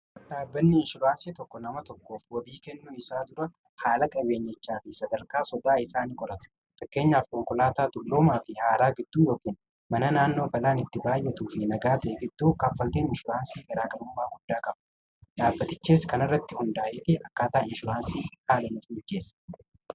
dhaabbanni inshuraansii tokko nama tokkoof wabii kennuu isaa dura haala qabeenyichaa fi sadarkaa sodaa isaan qorata takkeenyaaf qonkolaataa tulluomaa fi haaraa gidduu yookiin mana naannoo balaan itti baayyetu fi nagaa ta'e gidduu kaffaltiin insuraansii garaagaruumaa guddaa kaba dhaabbatichees kana irratti hundaa'eeti akkaataa inshuraansii haalanuuf mijceessa